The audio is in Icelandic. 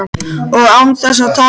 Og án þess að tala við mig!